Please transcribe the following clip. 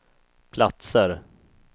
platser